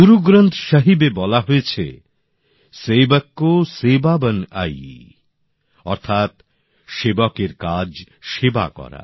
গুরুগ্রন্থ সাহিব এ বলা হয়েছে সেবক কো সেবা বন আই অর্থাৎ সেবকের কাজ সেবা করা